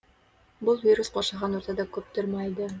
бұл вирус қоршаған ортада көп тұрмайды